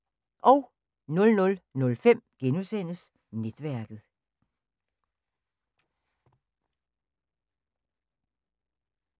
00:05: Netværket *